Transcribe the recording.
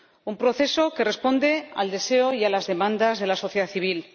Un proceso que responde al deseo y a las demandas de la sociedad civil.